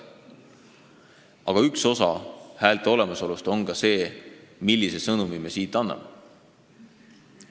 Aga häälte olemasolust rääkides on oluline ka see, millise sõnumi me siit anname.